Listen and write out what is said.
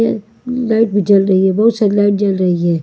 Light भी जल रही है बहुत सारी लाइट जल रही है।